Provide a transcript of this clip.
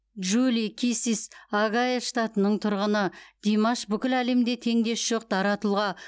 джули киссис огайо штатының тұрғыны димаш бүкіл әлемде теңдесі жоқ дара тұлға